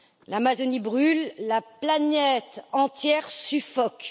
L'Amazonie brûle, la planète entière suffoque.